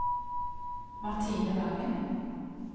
Martine Wangen